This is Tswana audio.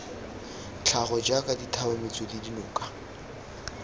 tlhago jaaka dithaba metswedi dinoka